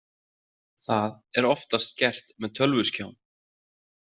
Það er oftast gert með tölvuskjám.